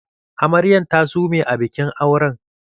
Amaryan ta sume a bikin auren